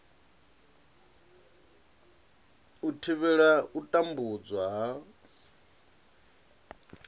u thivhela u tambudzwa ha